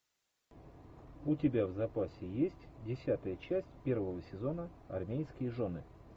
у тебя в запасе есть десятая часть первого сезона армейские жены